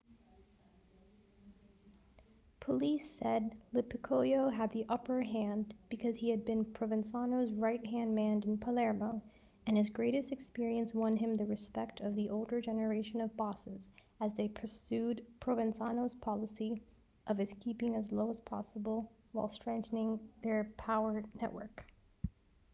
police said lo piccolo had the upper hand because he had been provenzano's right-hand man in palermo and his greater experience won him the respect of the older generation of bosses as they pursued provenzano's policy of keeping as low as possible while strengthening their power network